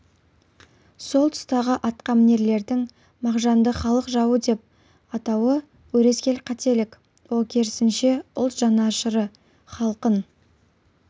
сол тұстағы атқамінерлердің мағжанды халық жауы деп атауы өрескел қателік ол керісінше ұлт жанашыры халқын